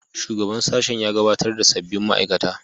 Shugaban sashen ya gabatar da sabbin ma'aikata